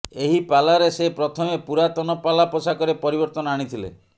ଏହି ପାଲାରେ ସେ ପ୍ରଥମେ ପୁରାତନ ପାଲା ପୋଷାକରେ ପରିବର୍ତ୍ତନ ଆଣିଥିଲେ